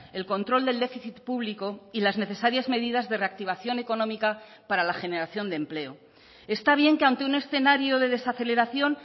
el control del déficit público y las necesarias medidas de reactivación económica para la generación de empleo está bien que ante un escenario de desaceleración